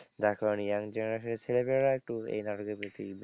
যার কারণে young generation এর ছেলেমেয়েরা একটু এই নাটকের প্রতি,